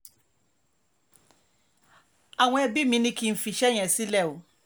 àwọn ẹbí mi ni kí n fi iṣẹ́ yẹn sílẹ̀ o